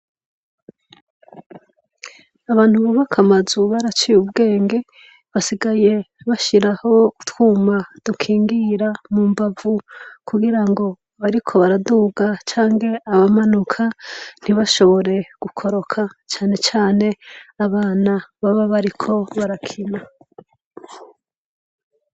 Abantu bubaka amazu baraciye ubwenge, basigaye bashiraho utwuma dukingira mu mbavu kugira nga abariko barasiga canke abamanuka ntibashobore gukoroka cane cane abana baba bariko barakina.